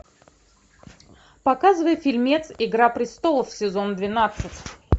показывай фильмец игра престолов сезон двенадцать